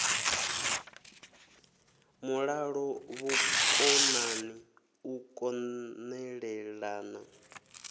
mulalo vhukonani u kon elelana